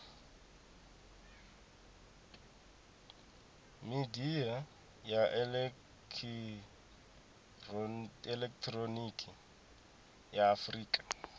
midia ya elekihironiki ya afurika